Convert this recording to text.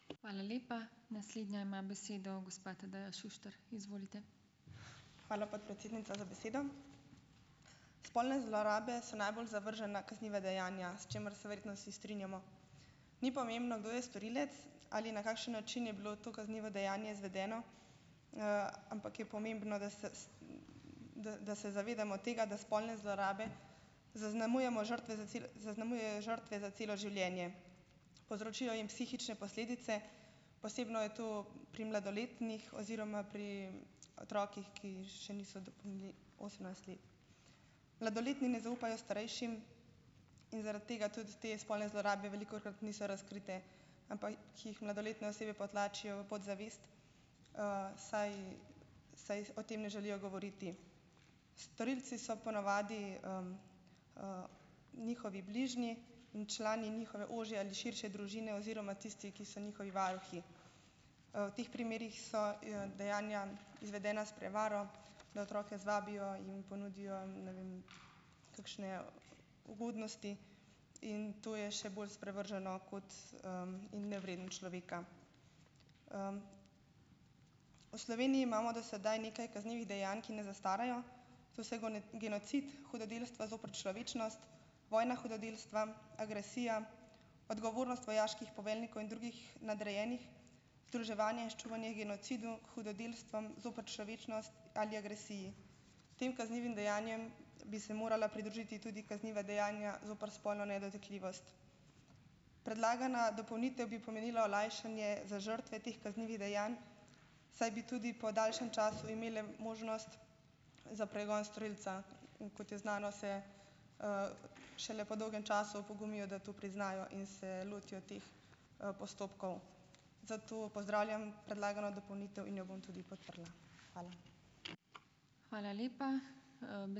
Hvala, podpredsednica, za besedo. Spolne zlorabe so najbolj zavržena kazniva dejanja, s čimer se verjetno vsi strinjamo. Ni pomembno, kdo je storilec ali na kakšen način je bilo to kaznivo dejanje izvedeno, ampak je pomembno, da se da da se zavedamo tega, da spolne zlorabe zaznamujemo žrtve za zaznamujejo žrtve za celo življenje. Povzročijo jim psihične posledice, posebno je to pri mladoletnih oziroma pri otrocih, ki še niso dopolnili osemnajst let. Mladoletni ne zaupajo starejšim in zaradi tega tudi te spolne zlorabe velikokrat niso razkrite, ampak ki jih mladoletne osebe potlačijo v podzavest, saj saj o tem ne želijo govoriti. Storilci so ponavadi, njihovi bližnji in člani njihove ožje ali širše družine oziroma tisti, ki so njihovi varuhi. V teh primerih so, dejanja izvedena s prevaro, da otroke zvabijo, jim ponudijo in ne vem kakšne ugodnosti. In to je še bolj sprevrženo kot, in nevredno človeka. V Sloveniji imamo do sedaj nekaj kaznivih dejanj, ki ne zastarajo, to so genocid, hudodelstva zoper človečnost, vojna hudodelstva, agresija, odgovornost vojaških poveljnikov in drugih nadrejenih, združevanje in ščuvanje h genocidu, hudodelstvom zoper človečnost ali agresiji. Tem kaznivim dejanjem bi se morala pridružiti tudi kazniva dejanja zoper spolno nedotakljivost. Predlagana dopolnitev bi pomenila olajšanje za žrtve teh kaznivih dejanj, saj bi tudi po daljšem času imeli možnost za pregon storilca. In kot je znano, se, šele po dolgem času opogumijo, da to priznajo in se lotijo teh, postopkov. Zato pozdravljam predlagano dopolnitev in jo bom tudi podprla. Hvala.